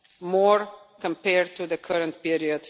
more compared to the current period